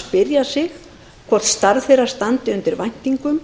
spyrja sig hvort starf þeirra standi undir væntingum